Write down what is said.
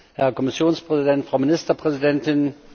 Herr Kommissionspräsident, Frau Ministerpräsidentin!